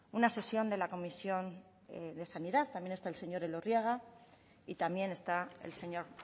una sesión de la comisión de sanidad también están el señor elorriaga y también está el señor